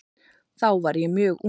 Þá var ég mjög ung.